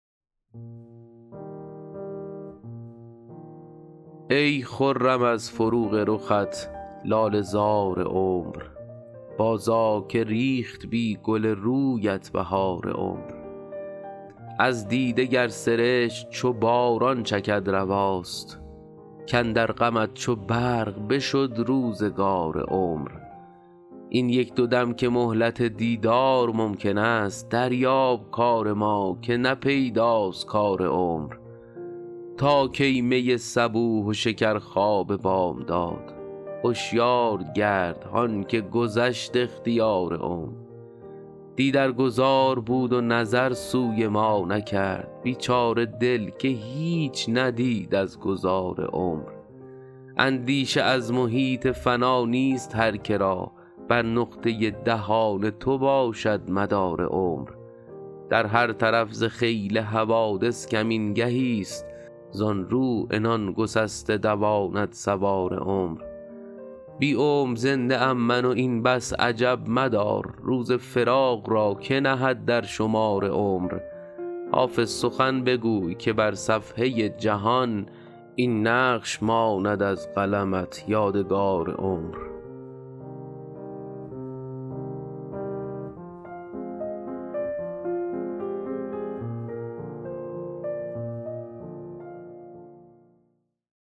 ای خرم از فروغ رخت لاله زار عمر بازآ که ریخت بی گل رویت بهار عمر از دیده گر سرشک چو باران چکد رواست کاندر غمت چو برق بشد روزگار عمر این یک دو دم که مهلت دیدار ممکن است دریاب کار ما که نه پیداست کار عمر تا کی می صبوح و شکرخواب بامداد هشیار گرد هان که گذشت اختیار عمر دی در گذار بود و نظر سوی ما نکرد بیچاره دل که هیچ ندید از گذار عمر اندیشه از محیط فنا نیست هر که را بر نقطه دهان تو باشد مدار عمر در هر طرف ز خیل حوادث کمین گهیست زان رو عنان گسسته دواند سوار عمر بی عمر زنده ام من و این بس عجب مدار روز فراق را که نهد در شمار عمر حافظ سخن بگوی که بر صفحه جهان این نقش ماند از قلمت یادگار عمر